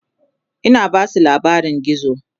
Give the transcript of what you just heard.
Ina Basu labarin gizo